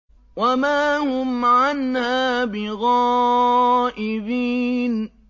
وَمَا هُمْ عَنْهَا بِغَائِبِينَ